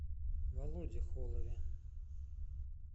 володе холове